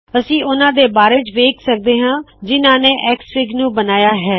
ਅਸੀ ਉਹਨਾ ਦੇ ਬਾਰੇ ਵੇਖ ਸਕਦੇ ਹਾ ਜਿਨਹਾ ਨੇ ਐਕਸਐਫਆਈਜੀ ਨੂ ਬਨਾਇਆ ਹੈ